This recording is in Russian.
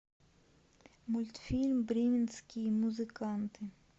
мультфильм бременские музыканты